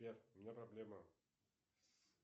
сбер у меня проблема